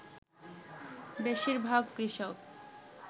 বেশীরভাগ কৃষক